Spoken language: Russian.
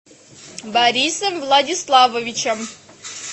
борисом владиславовичем